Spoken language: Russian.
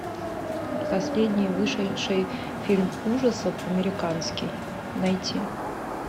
последний вышедший фильм ужасов американский найти